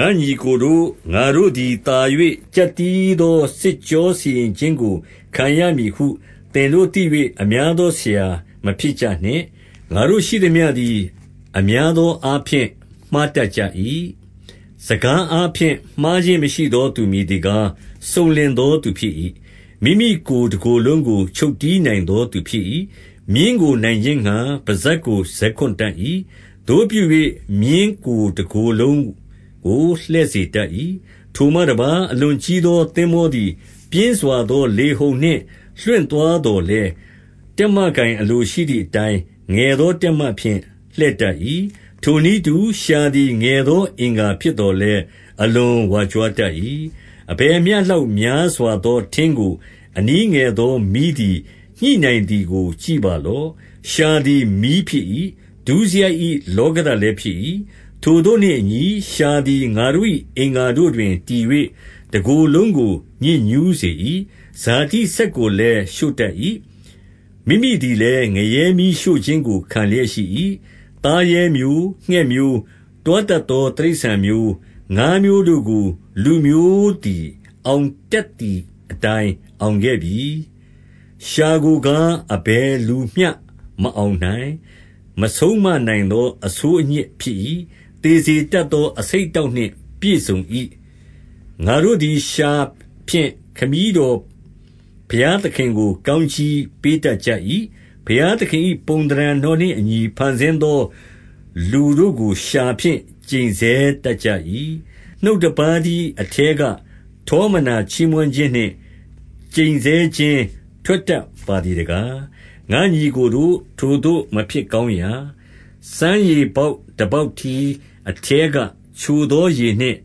ငါ့ညီအစ်ကိုတို့၊ ငါတို့သည်သာ၍ ကျပ်တည်းသော စစ်ကြောစီရင်ခြင်းကိုခံရမည်ဟု သင်တို့သိ၍ အများသောဆရာမဖြစ်ကြနှင့်။ ငါတို့ရှိသမျှသည် အများသောအားဖြင့် မှားတတ်ကြ၏။ စကားအားဖြင့် မှားခြင်းမရှိသောသူ မည်သည်ကား၊ စုံလင်သောသူဖြစ်၏။ မိမိကိုယ်ကို တကိုယ်လုံးကို ချုပ်တည်းနိုင်သောသူဖြစ်၏။ မြင်းကိုနိုင်ခြင်းငှါ ပစပ်ကိုဇက်ခွံ့တတ်၏။ သို့ပြု၍ မြင်းကိုယ်တကိုယ်လုံးကို လှည့်စေတတ်၏။ ထိုမှတပါး၊ အလွန်ကြီးသောသင်္ဘောသည် ပြင်းစွာသော လေဟုန်နှင့်လွင့်သွားသော်လည်း၊ တက်မ ကိုင်အလိုရှိသည်အတိုင်း၊ ငယ်သောတက်မဖြင့် လှည့်တတ်၏။ ထိုနည်းတူ၊ လျှာသည်ငယ်သော အင်္ဂါဖြစ်သော်လည်း အလွန်ဝါကြွားတတ်၏။ အဘယ်မျှလောက် များစွာသောထင်းကို အနည်းငယ်သာ မီးသည်ညှိနိုင်သည်ကို ကြည့်ပါလော့။ လျှာသည် မီးဖြစ်၏။ ဒုစရိုက်၏ လောကဓာတ်လည်းဖြစ်၏။ ထိုသို့နှင့်အညီ၊ လျှာသည်ငါတို့၏ အင်္ဂါတို့တွင်တည်၍ တကိုယ်လုံးကို ညစ်ညူးစေ၏။ ဇာတိစက်ကိုလည်းရှို့တတ်၏။ မိမိသည်လည်း ငရဲမီးရှို့ ခြင်းကိုခံလျက်ရှိ၏။ သားရဲမျိုး၊ ငှက်မျိုး၊ တွားတတ်သောတိရစ္ဆာန်မျိုး၊ ငါးမျိုးတို့ကို လူမျိုးသည် အောင်တတ်သည်အတိုင်း အောင်ခဲ့ပြီ။ လျှာကိုကား၊ အဘယ်လူမဆိုမအောင်နိုင်၊ မဆုံးမနိုင်သော အဆိုးအညစ်ဖြစ်၏။ သေစေတတ်သော အဆိပ်အတောက်နှင့်ပြည့်စုံ၏။ ငါတို့သည်လျှာဖြင့် ခမည်းတော်ဘုရားသခင်ကို ကောင်းကြီးပေးတတ်ကြ၏။ ဘုရားသခင်၏ ပုံသဏ္ဌာန်တော်နှင့်အညီဖန်ဆင်းသော လူတို့ကို လျှာဖြင့်ကျိန်ဆဲတတ်ကြ၏။ နှုတ်တပါးတည်းအထဲက၊ ထောမနာချီးမွမ်းခြင်းနှင့် ကျိန်ဆဲခြင်းထွက်တတ်ပါသည်တကား၊ ငါ့ညီအစ်ကိုတို့၊ ထိုသို့မဖြစ်ကောင်းရာ။ စမ်းရေပေါက်တပေါက်တည်း အထဲကချိုသောရေနှင့်